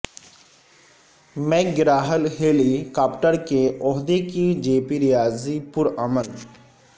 make گرا Hill helicopter کے عہدے کی جے پی ریاضی پر عمل